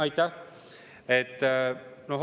Aitäh!